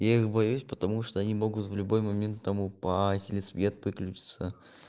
я их боюсь потому что они могут в любой момент там упасть или свет выключится